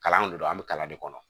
Kalan de don an bɛ kalan de kɔnɔ